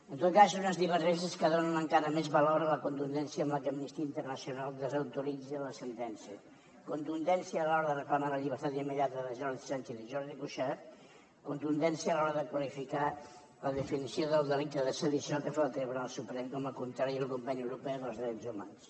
en tot cas són unes divergències que donen encara més valor a la contundència amb la qual amnistia internacional desautoritza la sentència contundència a l’hora de reclamar la llibertat immediata de jordi sànchez i jordi cuixart contundència a l’hora de qualificar la definició del delicte de sedició que fa el tribunal suprem com a contrari al conveni europeu dels drets humans